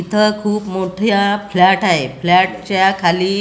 इथं खूप मोठ्या फ्लॅट आहे. फ्लॅट च्या खाली--